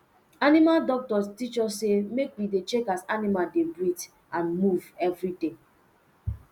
animal doctor teach us say make we dey check as animal dey breath and move every day